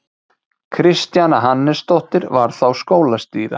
Kristjana Hannesdóttir var þá skólastýra.